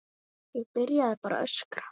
Ég byrjaði bara að öskra.